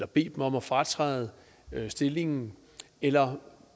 bede dem om at fratræde stillingen eller